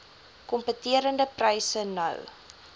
kompeterende pryse nou